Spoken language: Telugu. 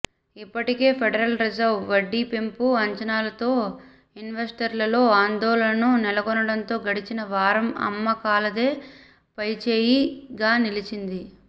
ఇప్పటికే ఫెడరల్ రిజర్వ్ వడ్డీ పెంపు అంచనాలతో ఇన్వెస్టర్లలో ఆందోళనలు నెలకొనడంతో గడిచిన వారం అమ్మకాలదే పైచేయిగా నిలిచింది